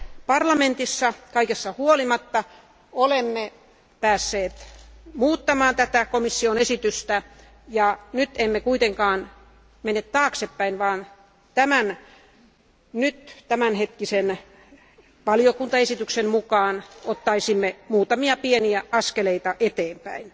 Parlamentissa kaikesta huolimatta olemme päässeet muuttamaan tätä komission esitystä, ja nyt emme kuitenkaan mene taaksepäin vaan tämänhetkisen valiokuntaesityksen mukaan ottaisimme muutamia pieniä askeleita eteenpäin.